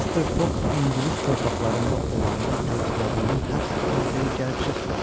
Mister Foq ingilis torpaqlarında olanda gözlədiyim həbs orderi gəlib çıxmadı.